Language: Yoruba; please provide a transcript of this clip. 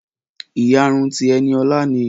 Ìyárún ti Eniolá ni.